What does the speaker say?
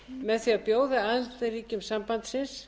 með því að bjóða aðildarríkjum sambandsins